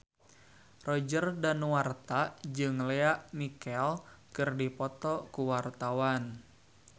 Roger Danuarta jeung Lea Michele keur dipoto ku wartawan